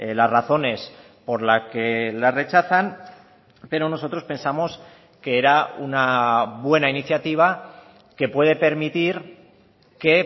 las razones por la que la rechazan pero nosotros pensamos que era una buena iniciativa que puede permitir que